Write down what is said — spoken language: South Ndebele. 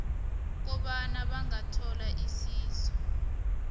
kobana bangathola isizo